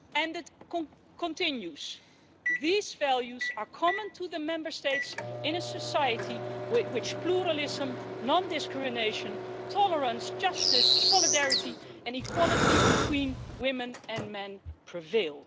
It continues these values are common to the Member States in a society in which pluralism, non-discrimination, tolerance, justice, solidarity and equality between women and men prevail'.